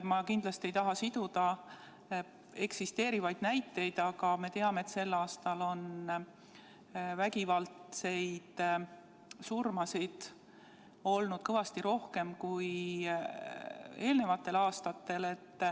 Ma kindlasti ei taha siduda eksisteerivaid näiteid, aga me teame, et sel aastal on vägivaldseid surmasid olnud kõvasti rohkem kui eelnevatel aastatel.